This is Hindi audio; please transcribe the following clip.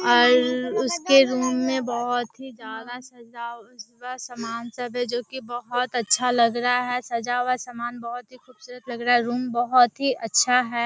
और उसके रूम में बहुत ही ज्यादा सजा हुआ समान है जो की बहुत अच्छा लग रहा है सजा हुआ समान बहुत ही खूबसूरत लग रहा है रूम बहुत ही अच्छा है।